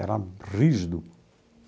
Era rígido.